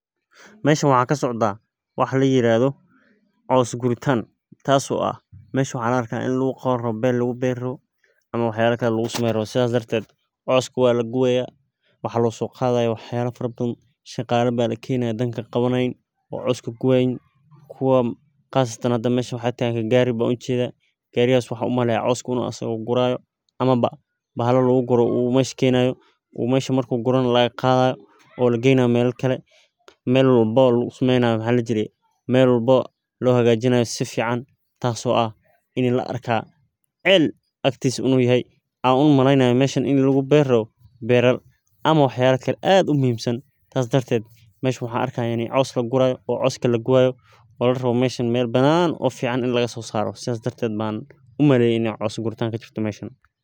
Meshan waxa kasocda wax layirado cos guritan tas oo ah mesha waxa laarka ini wax lagu qabani karo , ber laguberi rabo ama waxyabo kale lagu sameyni rabo sidhas daraded coska walagubayah waxa losoqadaya waxyabo fara badhan, shaqala baa lakenayah, oo wax qabanayan oo cos kagubayan, kuwa qasatan mesha waxa tagan gari ban ujeda gariga waxan umaleya inu asaka coska gurayo, amaba bahala lagu gurayo u mesha kenayo oo mesha marku guru nah lagaqadayo, oola geynayo mela kale mel walbo lagu sameynayo si fican lohajinayo, tas oo ah ini laarka cel inu agtisa yahay an umaleynayah meshan in lagu beri rabo beral ama wax yabo kale ad umuhimsan. Tas dartet meshan waxan arka ini cos laga gurayo oo coska lagubayo oo larabo meshas mel banan oo fican ah ini lagasosaro ban umaleyah, inay cos guritan kajirto meshan.